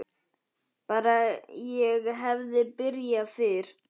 Bara ég hefði byrjað fyrr!